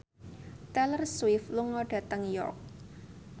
Taylor Swift lunga dhateng York